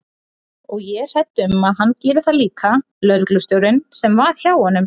Og ég er hrædd um að hann geri það líka lögreglustjórinn sem var hjá honum.